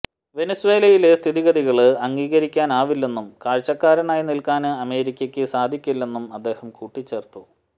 വെനസ്വേലയിലെ സ്ഥിതിഗതികള് അംഗീകരിക്കാനാവില്ലെന്നും കാഴ്ചക്കാരനായി നില്ക്കാന് അമേരിക്കക്ക് സാധിക്കില്ലെന്നും അദ്ദേഹം കൂട്ടിച്ചേര്ത്തു